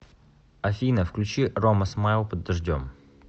афина включи рома смайл под дождем